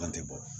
An tɛ bɔ